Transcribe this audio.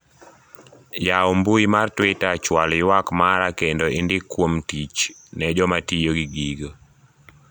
yaw mbui mar twita chwal ywak mara kendo indik kuom tich ne jomatiyo gi gigo